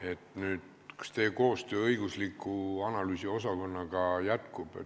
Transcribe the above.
siis küsin: kas teie koostöö õigus- ja analüüsiosakonnaga jätkub?